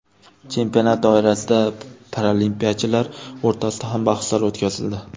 Chempionat doirasida paralimpiyachilar o‘rtasida ham bahslar o‘tkazildi.